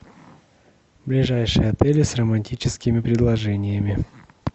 ближайшие отели с романтическими предложениями